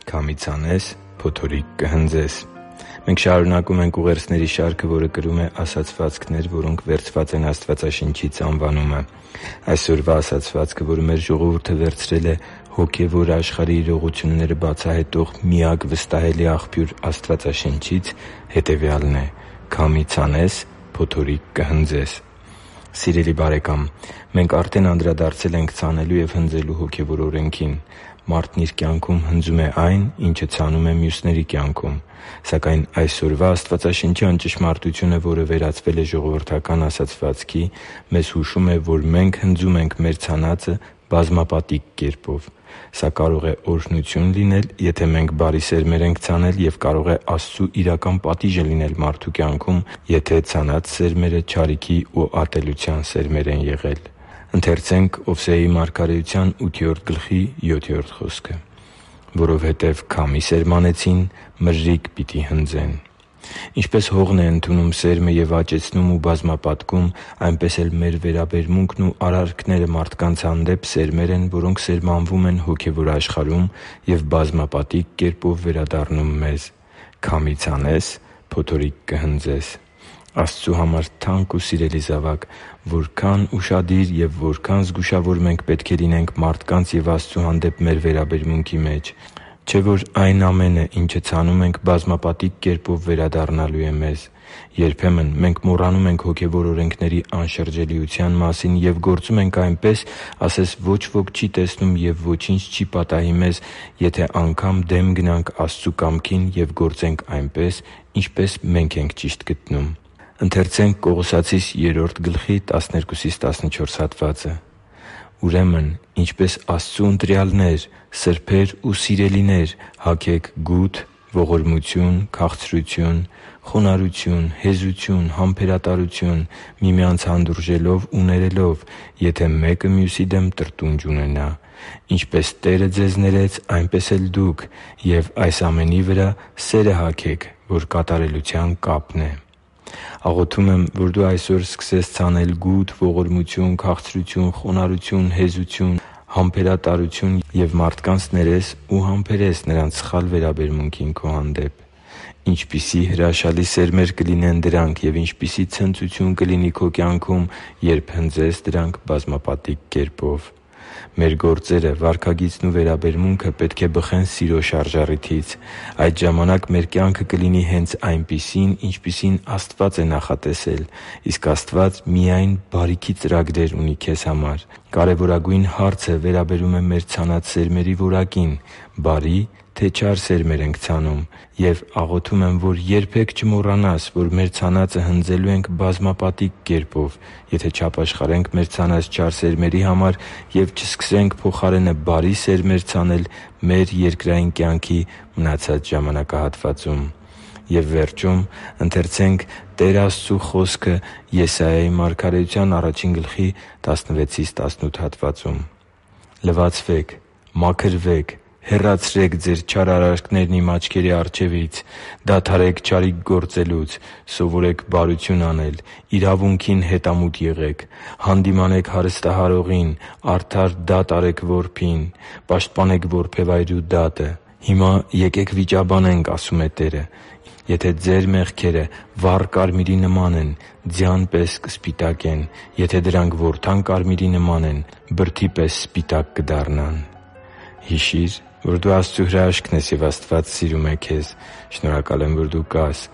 Քամի ցանես, փոթորիկ կհնձես Մենք շարունակում ենք ուղերձների շարքը, որը կրում է «Ասացվածքներ, որոնք վերցված են Աստվածաշնչից» անվանումը։ Այսօրվա ասացվածքը, որը մեր ժողովուրդը վերցրել է հոգևոր աշխարհի իրողությունները բացահայտող միակ վստահելի աղբյուր Աստվածաշնչից, հետևյալն է՝ «Քամի ցանես, փոթորիկ կհնձես»։ Սիրելի՛ բարեկամ, մենք արդեն անդրադարձել ենք ցանելու և հնձելու հոգևոր օրենքին։ Մարդն իր կյանքում հնձում է այն, ինչը ցանում է մյուսների կյանքում։ Սակայն այսօրվա աստվածաշնչյան ճշմարտությունը, որը վերածվել է ժողովրդական ասացվածքի, մեզ հուշում է, որ մենք հնձում ենք մեր ցանածը բազմապատիկ կերպով։ Սա կարող է օրհնություն լինել, եթե մենք բարի սերմեր ենք ցանել, և կարող է Աստծու իրական պատիժը լինել մարդու կյանքում, եթե ցանված սերմերը չարիքի ու ատելության սերմեր են եղել։ «Որովհետև քամի սերմանեցին, մրրիկ պիտի հնձեն․․․» (Ովսեե 8․7): Ինչպես հողն է ընդունում սերմը և աճեցնում ու բազմապատկում, այնպես մեր վերաբերմունքն ու արարքները մարդկանց հանդեպ սերմեր են, որոնք սերմանվում են հոգևոր աշխարհում և բազմապատիկ կերպով վերադառնում մեզ։ Քամի ցանես՝ փոթորիկ կհնձես։ Աստծու համար թանկ ու սիրելի՛ զավակ, որքա՜ն ուշադիր և որքա՜ն զգուշավոր մենք պետք է լինենք մարդկանց և Աստծու հանդեպ մեր վերաբերմունքի մեջ։ Չէ՞ որ այն ամենը, ինչը ցանում ենք, բազմապատիկ կերպով վերադառնալու է մեզ։ Երբեմն մենք մոռանում ենք հոգևոր օրենքների անշրջելիության մասին և գործում ենք այնպես, ասես ոչ ոք չի տեսնում և ոչինչ չի պատահի մեզ, եթե անգամ դեմ գնանք Աստծու կամքին և գործենք այնպես, ինչպես մե՛նք ենք ճիշտ գտնում։ «Ուրեմն, ինչպես Աստծու ընտրյալներ՝ սրբեր ու սիրելիներ, հագե՛ք գութ, ողորմություն, քաղցրություն, խոնարհություն, հեզություն, համբերատարություն՝ միմյանց հանդուրժելով ու ներելով, եթե մեկը մյուսի դեմ տրտունջ ունենա։ Ինչպես Տերը ձեզ ներեց, այնպես էլ՝ դուք։ Եվ այս ամենի վրա սե՛րը հագեք, որ կատարելության կապն է» (Կողոսացիս 3․12-14): Աղոթում եմ, որ դու այսօր սկսես ցանել գութ, ողորմություն, քաղցրություն, խոնարհություն, հեզություն, համբերատարություն և մարդկանց ներես ու համբերես նրանց սխալ վերաբերմունքը քո հանդեպ։ Ինչպիսի՜ հրաշալի սերմեր կլինեն դրանք, և ինչպիսի՜ ցնծություն կլինի քո կյանքում, երբ հնձես դրանք բազմապատիկ կերպով։ Մեր գործերը, վարքագիծն ու վերաբերմունքը պետք է բխեն սիրո շարժառիթից։ Այդ ժամանակ մեր կյանքը կլինի հե՛նց այնպիսին, ինչպիսին Աստված է նախատեսել։ Իսկ Աստված միայն բարիքի ծրագրեր ունի քեզ համար։ Կարևորագույն հարցը վերաբերում է մեր ցանած սերմերի որակին՝ բարի՞, թե՞ չար սերմեր ենք ցանում։ Եվ աղոթում եմ, որ երբե՛ք չմոռանանք, որ մեր ցանածը հնձելու ենք բազմապատիկ կերպով, եթե չապաշխարենք մեր ցանած չար սերմերի համար և չսկսենք փոխարենը բարի սերմեր ցանել մեր երկրային կյանքի մնացած ժամանակահատվածում։ «Լվացվե՛ք, մաքրվե՛ք, հեռացրե՛ք ձեր չար արարքներն Իմ աչքերի առջևից, դադարե՛ք չարիք գործելուց։ Սովորե՛ք բարություն անել, իրավունքի՛ն հետամուտ եղեք, հանդիմանե՛ք հարստահարողին, արդար դա՛տ արեք որբին, պաշտպանե՛ք որբևայրու դատը։ Հիմա եկե՛ք վիճաբանենք,- ասում է Տերը,- եթե ձեր մեղքերը վառ կարմիրի նման են, ձյան պես կսպիտակեն. եթե դրանք որդան կարմիրի նման են, բրդի պես սպիտակ կդառնան» (Եսայիա 1․16-18): Հիշի՛ր, որ դու Աստծո հրաշքն ես, և Աստված սիրում է քեզ։ Շնորհակալ եմ, որ դու կա՛ս